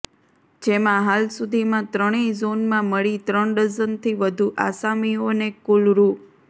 જેમાં હાલ સુધીમાં ત્રણેય ઝોનમાં મળી ત્રણ ડઝનથી વધુ આસામીઓને કુલ રૂા